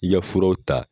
I ka furaw ta